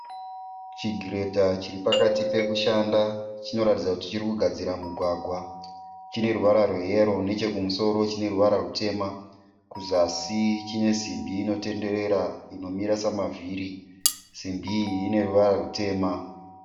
Chigiredha chiripakati pekushanda. Chinoratidza kuti chirikugadzira mugwagwa. Chineruvara rwe yero nechekumusoro chineruvara rutema . kuzasi chine simbi inotenderera inomira samavhiri. Simbi iyi ineruvara rutema.